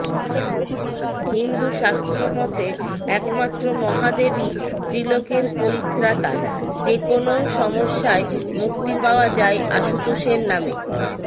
হিন্দুশাস্ত্র মতে একমাত্র মহাদেবই ত্রিলোকের পরিত্রাতা যেকোনও সমস্যায় মুক্তি পাওয়া যায় আশুতোষের নামে